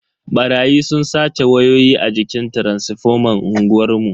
Barayi sun sace wayoyi a jikin taransifoman unguwar mu.